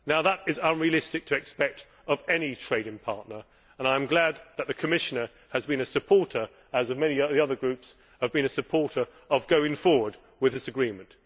Now that is unrealistic to expect of any trading partner, and I am glad that the Commissioner has been a supporter as have many of the other groups of going forward with this agreement.